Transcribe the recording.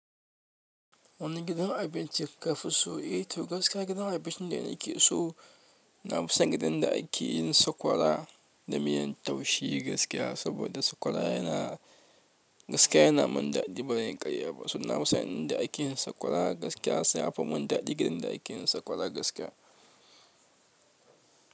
Wani gidan abinci kafi so? Eh to gaskiya gidan abincin da na ke so, na fi son gidan da ake yin sakwara da miyan taushe gaskiya. Saboda sakwara yana, gaskiya yana mun daɗi ba zanyi karya ba. So na fi son inda ake yin sakwara gaskiya, sai a fa mun daɗi gidan da ake yin sakwara gaskiya.